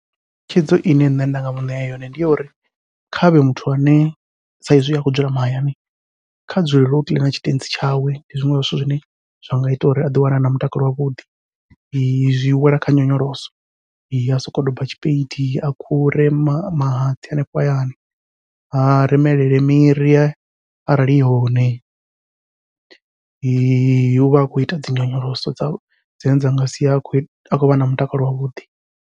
Thikhedzo ine nṋe nda nga muṋea yone ndi ya uri, khavhe muthu ane saizwi akho dzula mahayani, kha dzulele u kiḽina tshitentsi tshawe ndi zwiṅwe zwa zwithu zwine zwa nga ita uri a ḓi wana ana mutakalo wavhuḓi zwiwela kha nyonyoloso a sokou doba tshipedi a khure mahatsi hanefho hayani. A remelele miri arali ihone uvha a khou ita dzi nyonyoloso dza dzine dza nga sia a khou vha na mutakalo wavhuḓi.